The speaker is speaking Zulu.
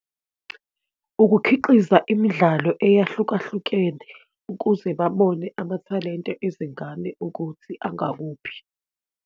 Ukukhiqiza imidlalo eyahlukahlukene ukuze babone amathalente ezingane ukuthi angakuphi.